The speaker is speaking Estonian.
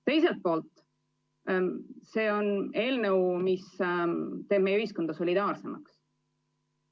Teiselt poolt on see eelnõu, mis teeb meie ühiskonda solidaarsemaks.